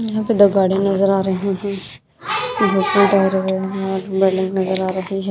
यहां पर the garden नजर आ रहे हैं नजर आ रही है।